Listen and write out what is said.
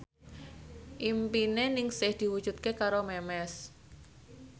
impine Ningsih diwujudke karo Memes